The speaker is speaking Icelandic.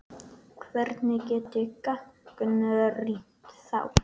Hvernig get ég gagnrýnt þá?